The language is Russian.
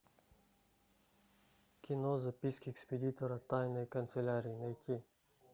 кино записки экспедитора тайной канцелярии найти